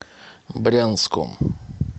брянском